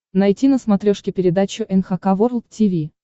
найти на смотрешке передачу эн эйч кей волд ти ви